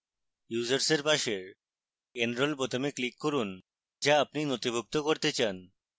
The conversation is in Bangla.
users এর পাশের enrol বোতামে click করুন যা আপনি নথিভুক্ত করতে then